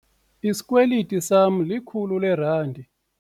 Isikweliti sama likhulu leerandi.